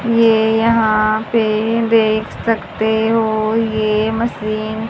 ये यहां पे देख सकते हो ये मशीन --